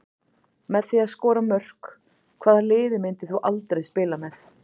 Með því að skora mörk Hvaða liði myndir þú aldrei spila með?